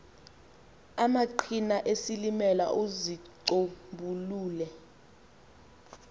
amaqhina esilimela uzicombulule